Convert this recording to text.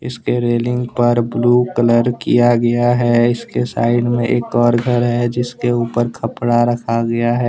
इसके रेलिंग पर blue colour किया गया हैं इसके साइड में एक और घर है जिसके ऊपर कपड़ा रखा गया हैं।